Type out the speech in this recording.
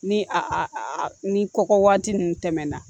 Ni a a a ni kɔkɔ waati ninnu tɛmɛna